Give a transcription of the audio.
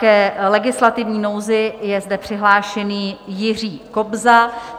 K legislativní nouzi je zde přihlášený Jiří Kobza.